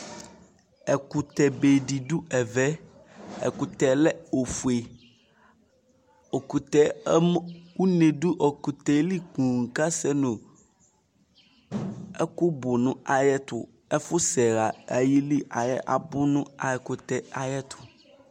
ɛkutɛ be di do ɛvɛ ɛkutɛ lɛ ofue ɛkutɛ une do ɛkutɛ li ponŋ k'asɛ no ɛkò bu no ayɛto ɛfu sɛ ɣa ayili abò no ɛkutɛ ayɛto